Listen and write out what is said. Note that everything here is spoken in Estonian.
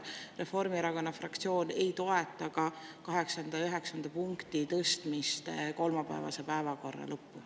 Reformierakonna fraktsioon ei toeta ka 8. ja 9. punkti tõstmist kolmapäevase päevakorra lõppu.